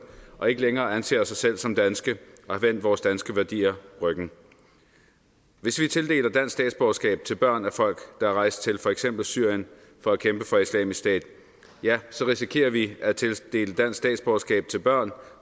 og ikke længere anser sig selv som danske og har vendt vores danske værdier ryggen hvis vi tildeler dansk statsborgerskab til børn af folk der er rejst til for eksempel syrien for at kæmpe for islamisk stat ja så risikerer vi at tildele dansk statsborgerskab til børn